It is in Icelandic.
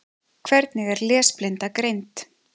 Hvernig er lesblinda greind?